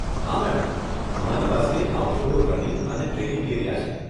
હા, મેડમ, અમારી પાસે આઉટડોર રનિંગ અને ટ્રેનિંગ એરિયા છે.